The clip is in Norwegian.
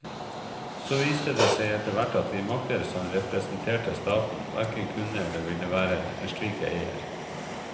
Så viste det seg etterhvert at de makter som representerte staten, hverken kunne eller ville være en slik eier.